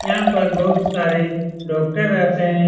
यहां पर बहुत सारे डॉक्टर रहते है।